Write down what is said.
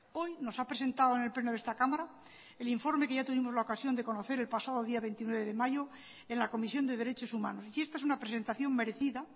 hoy nos ha presentado en el pleno de esta cámara el informe que ya tuvimos la ocasión de conocer el pasado día veintinueve de mayo en la comisión de derechos humanos y esta es una presentación merecida